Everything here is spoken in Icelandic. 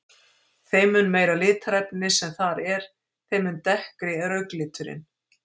Þeim mun meira litarefni sem þar er, þeim mun dekkri er augnliturinn.